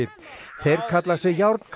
þeir kalla sig